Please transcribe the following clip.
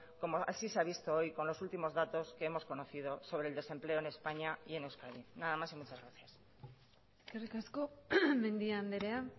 como así se ha visto hoy con los últimos datos que hemos conocido sobre el desempleo en españa y en euskadi nada más y muchas gracias eskerrik asko mendia andrea